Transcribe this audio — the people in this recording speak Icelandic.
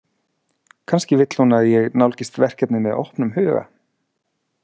Kannski vill hún að ég nálgist verkefnið með opnum huga.